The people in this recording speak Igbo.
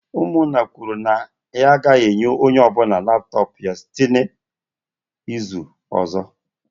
Umunna kwuru na ya agaghi enye onye obula laptop ya site n'izu ozo